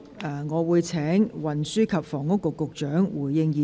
我現在請運輸及房屋局局長發言。